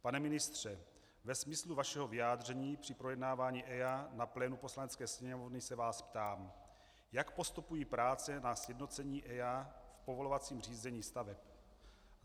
Pane ministře, ve smyslu vašeho vyjádření při projednávání EIA na plénu Poslanecké sněmovny se vás ptám: Jak postupují práce na sjednocení EIA v povolovacím řízení staveb?